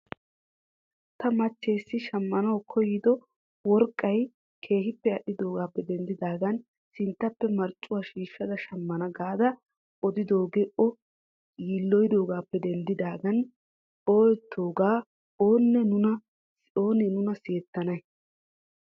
Ta machchessi shamanaw koyido worqqay keehi al'oggappe denddidagan sinttappe marccuwa shiishada shamana gaada odidooge o yiloyidoogappe denddidaagan ooyettidoga oone nuna sihettanay?